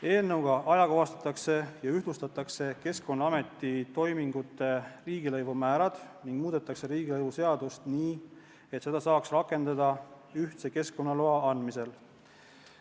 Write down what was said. Eelnõuga ajakohastatakse ja ühtlustatakse Keskkonnaameti toimingute riigilõivude määrad ning muudetakse riigilõivuseadust nii, et seda saaks rakendada ühtse keskkonnaloa andmisel.